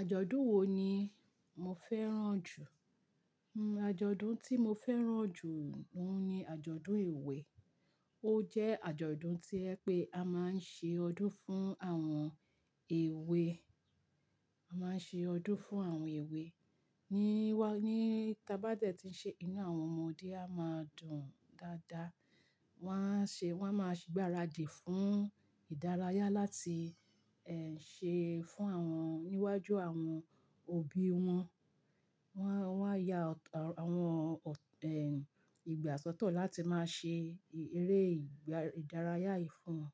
Àjọ̀dún wo ni mo fẹ́ràn jù? Hmm àjọ̀dún tí mo fẹ́ràn jù oun ni àjọ̀dún èwe. Ó jẹ́ àjọ̀dún to jẹ pé a máa ń ṣe ọdún fún àwọn èwe, a máa ń ṣe ọdún fún àwọn èwe. Ni wá, ní tá bá dẹ̀ ti ń ṣe, inú àwọn ọmọdé a máa dùn dáadáa. Wọn a ṣe, wọ́n a máa gbáradì fún ìdárayá láti ẹ́hn ṣé fún wọn níwájú àwọn òbí wọn. Wọ́n, wọ́n á ya àwọn ọ̀, ẹ́ ìgbà sọ́tọ̀ láti máa ṣe eré ìdárayá yìí fún wọn.